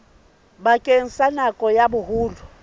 bakeng sa nako ya boholo